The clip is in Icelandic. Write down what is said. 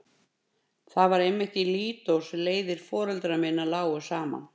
Það var einmitt í Lídó sem leiðir foreldra minna lágu saman.